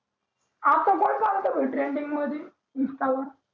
आता कोण चालवत भाई trending मध्ये insta वर